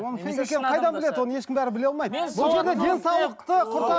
оның фейк екенін қайдан біледі оны ешкім бәрі біле алмайды бұл жерде денсаулықты